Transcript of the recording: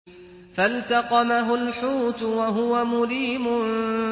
فَالْتَقَمَهُ الْحُوتُ وَهُوَ مُلِيمٌ